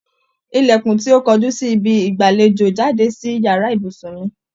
Ilẹkun tí o kojú si ibi ìgbàléjò jáde sí yàrá ibùsùn mi